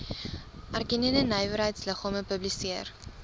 erkende nywerheidsliggame publiseer